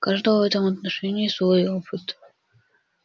у каждого в этом отношении свой опыт